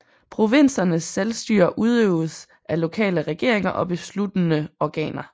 Provinsernes selvstyre udøvedes af lokale regeringer og besluttende organer